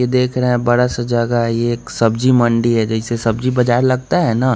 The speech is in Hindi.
ये देख रहे हैं बड़ा सा जगह है ये एक सब्जी मंडी है जैसे सब्जी बाजार लगता है न--